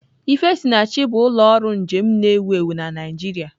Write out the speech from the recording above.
Ifesinachi bụ ụlọ ọrụ njem na-ewu ewu na Naịjirịa.